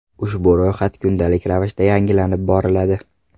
Ushbu ro‘yxat kundalik ravishda yangilanib boriladi.